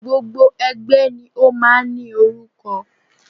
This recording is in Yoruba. Gbogbo ẹgbẹ́ ni o máà ń í orúkọ.